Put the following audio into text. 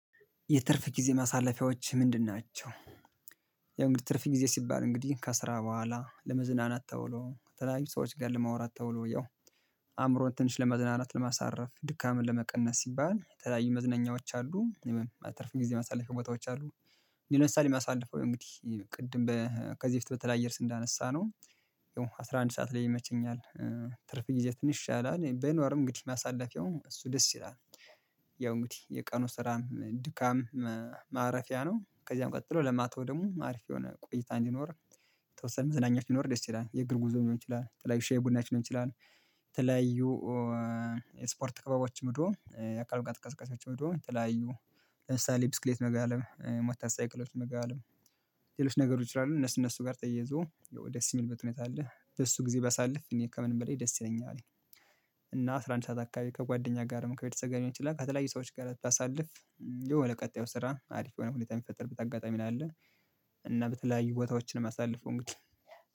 የትርፍ ጊዜ ማሳለፊያዎች ምንድን ናቸው? ያው እንግዲህ ትርፍ ጊዜ ሲባል እንግዲህ ከስራ በኋላ ለመዝናናት ተውሎ ተላላዩ ሰዎች ጋር ለማውራት ተውሎ ያው አእምሮን ትንሽ ለመዝናናት ለማሳረፍ ድካምን ለመቀነስ ሲባል ተለያዩ መዝነኛዎች አሉ። እትርፍ ጊዜ ማሳለፊያ ቦታዎች አሉ። እኔ ምሳሌ የሚያሳልፈው እንግዲህ ቅድም ከዚህ በፊት በተለያየ እርስ እንዳነሳነው አስራ አንድ ሰዓት ላይ ይመቸኛል። ትርፍ ጊዜ ትንሽ ይሻላል በኖርም እንግዲህ ማሳለፊያውም እሱ ደስ ይላል። ያው እንግዲህ የቀኑ ስራም ድካም ማረፊያ ነው። ከዚያም ቀጥሎ ለማታው ደግሞ አሪፍ የሆነ ቆይታ እንዲኖር የተወሰነ መዘናኛች ቢኖር ደስ ይላል የእግር ጉዞ ሊሆን ይችላል ተለያዩ ሻይ ቡናችን ሊሆን ይችላል። ተለያዩ ስፖርት ክባቦች ምድሩ የአካል ቀጥ ቀስ ቀስ ቀስ ቀስ ምድሩ የተለያዩ ለምሳሌ ብስክሌት መጋለብ ሞተር ሳይክሎች መጋለብ። ሌሎች ነገሮች ላይ እነሱ እነሱ ጋር ተያይዞ ደስ የሚልበት ሁኔታ አለ በሱ ጊዜ ባሳልፍ እኔ ከምንም በላይ ደስ ይለኛል። እና አስራ አንድ ሰዓት አካባቢ ከጓደኛ ጋር ከቤተሰብ ጋር ሊሆን ይችላል ከተለያዩ ሰዎች ጋር አታሳልፍ። ያው ለቀጣዩ ስራ አሪፍ የሆነ ሁኔታ የሚፈጠር በጣም አጋጣሚ ነው ያለው። እና በተለያዩ ቦታዎችን የማሳልፈው እንግዲህ